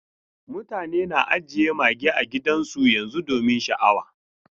Mutane na ajiye mage a gidajensu domin sha'awa.